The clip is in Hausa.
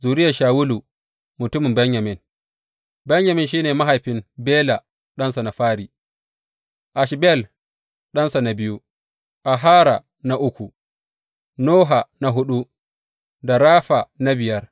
Zuriyar Shawulu mutumin Benyamin Benyamin shi ne mahaifin, Bela ɗansa na fari, Ashbel ɗansa na biyu, Ahara na uku, Noha na huɗu da Rafa na biyar.